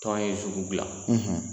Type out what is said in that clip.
Tɔn ye bila